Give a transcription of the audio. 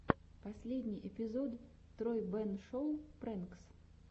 последний эпизод тройбэн шоу прэнкс